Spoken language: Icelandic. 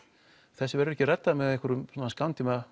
þessu verður ekki reddað með einhverjum svona